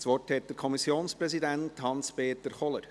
Das Wort hat der Kommissionspräsident Hans-Peter Kohler.